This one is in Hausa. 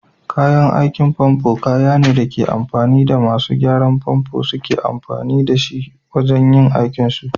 Kayan aikin famfo kayane da ake amfani da masu gyaran famfo suke amfani da shi wajan yin aikin su.